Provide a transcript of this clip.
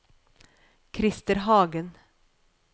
Krister Hagen